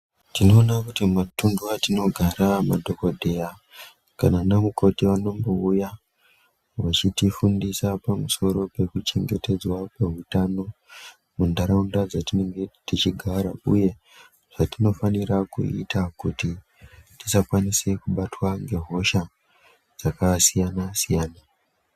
Tinoona kuti matundu atinogara ma dhokodheya kana anamukoti vanombouya vechitifundisa pamusoro pekuchengetedzwa kweutano mundaraunda dzatinenge tichigara uye zvatinofanira kuita kuti tisakwanise kubatwa nge hosha dzakasiyana siyana.